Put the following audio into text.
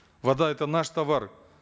вода это наш товар